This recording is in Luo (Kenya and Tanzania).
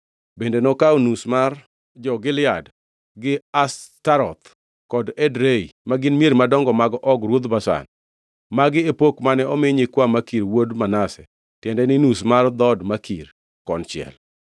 bende nokawo nus mar jo-Gilead, gi Ashtaroth kod Edrei (ma gin mier madongo mag Og ruodh Bashan). Magi e pok mane omi nyikwa Makir wuod Manase, tiende ni nus mar dhood Makir konchiel.